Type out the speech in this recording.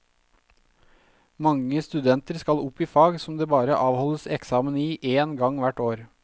Mange studenter skal opp i fag som det bare avholdes eksamen i én gang hvert år.